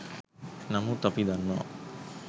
නමුත් අපි දන්නවා